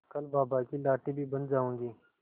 कल बाबा की लाठी भी बन जाऊंगी